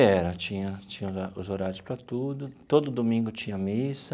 Era, tinha tinha horário os horários para tudo, todo domingo tinha missa.